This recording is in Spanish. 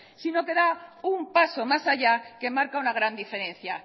sino que da un paso más haya que marca una gran diferencia